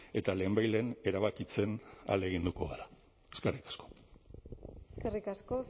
eta lehenbailehen erabakitzen ahaleginduko gara eskerrik asko eskerrik asko